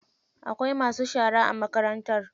Akwai masu shara a makarantar.